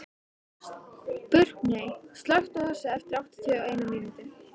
Burkney, slökktu á þessu eftir áttatíu og eina mínútur.